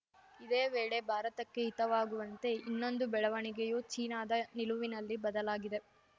ಇದೇ ವೇಳೆ ಭಾರತಕ್ಕೆ ಹಿತವಾಗುವಂತೆ ಇನ್ನೊಂದು ಬೆಳವಣಿಗೆಯೂ ಚೀನಾದ ನಿಲುವಿನಲ್ಲಿ ಬದಲಾಗಿದೆ